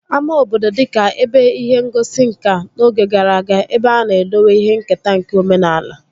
Ama obodo dịka ebe ihe ngosi nkà n'oge gara aga ebe a na-edowe ihe nketa nke omenaala